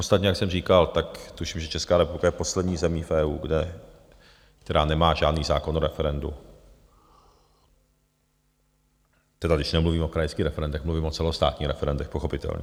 Ostatně, jak jsem říkal, tak tuším, že Česká republika je poslední zemí v EU, která nemá žádný zákon o referendu, tedy když nemluvím o krajských referendech, mluvím o celostátních referendech pochopitelně.